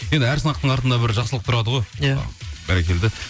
енді әр сынақтың артында бір жақсылық тұрады ғой иә бәрекелді